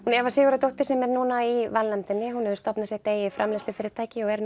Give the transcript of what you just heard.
Eva Sigurðardóttir sem er núna í valnefndinni hefur stofnað sitt eigið framleiðslufyrirtæki og er